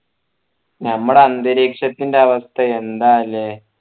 ഞമ്മളെ അന്തരീക്ഷത്തിന്റെ അവസ്ഥ എന്താ അല്ലെ